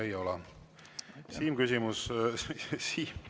Rohkem küsimusi teile ei ole.